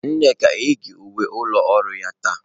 Nneka eyighị uwe ụlọ ọrụ ya taa.